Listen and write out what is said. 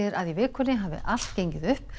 að í vikunni hafi allt gengið upp